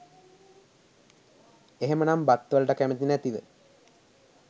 එහෙමනම් බත්වලට කැමති නැතිව